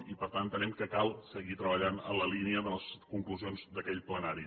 i per tant entenem que cal seguir treballant en la línia de les conclusions d’aquell plenari